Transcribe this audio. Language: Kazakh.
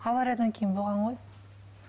авариядан кейін болған ғой